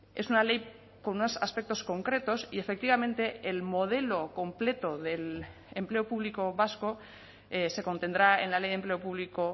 es una ley con unos aspectos concretos y efectivamente el modelo completo del empleo público vasco se contendrá en la ley de empleo público